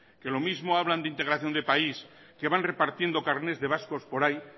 que lo mismo hablan de integración de país que van repartiendo carnets de vascos por ahí